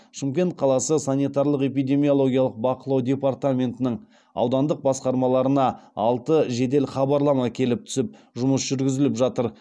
шымкент қаласы санитарлық эпидемиологиялық бақылау департаментінің аудандық басқармаларына алты жедел хабарлама келіп түсіп жұмыс жүргізіліп жатыр